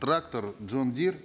трактор джундир